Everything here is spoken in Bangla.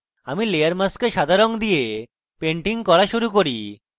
আমার layer mask সাদা রঙ দিয়ে painting করা শুরু করি